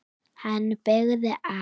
Hann beygði af.